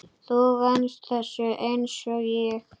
Þú venst þessu einsog ég.